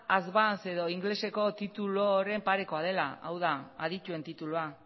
advance edo ingeleseko tituluaren pareko dela hau da adituen titulua